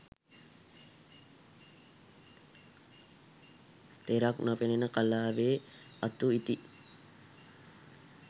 තෙරක් නොපෙනෙන කලාවේ අතු ඉති